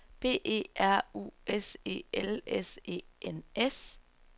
B E R U S E L S E N S